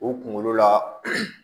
U kunkolo la